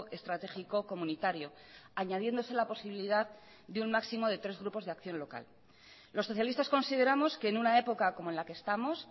estratégico comunitario añadiéndose la posibilidad de un máximo de tres grupos de acción local los socialistas consideramos que en una época como en la que estamos